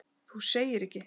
Þú segir ekki!?!